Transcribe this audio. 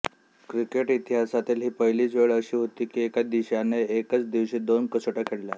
cricket इतिहासातील ही पहिलीच वेळ अशी होती की एका देशाने एकाच दिवशी दोन कसोट्या खेळल्या